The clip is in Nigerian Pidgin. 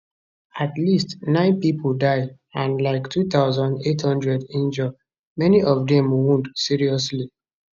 at least nine pipo die and like 2800 injure many of dem wound seriously